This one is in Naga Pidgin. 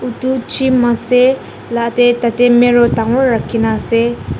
edu gym ase latae tatae mirror dangor rakhi na ase.